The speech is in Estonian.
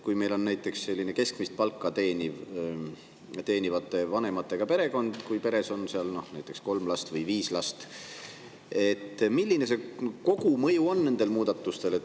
Kui meil on näiteks selline keskmist palka teenivate vanematega perekond, kus on kolm last või viis last, siis milline kogumõju nendel muudatustel on?